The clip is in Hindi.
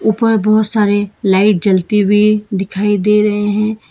ऊपर बहुत सारे लाइट जलती हुई दिखाई दे रहे हैं।